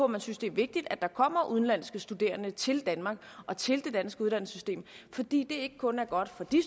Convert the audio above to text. man synes det er vigtigt at der kommer udenlandske studerende til danmark og til det danske uddannelsessystem fordi det ikke kun er godt for de